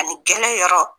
Ani gɛrɛ yɔrɔ